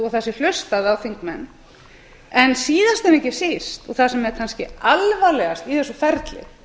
og það sé hlustað á þingmenn síðast en ekki síst og það sem er kannski alvarlegast í þessu ferli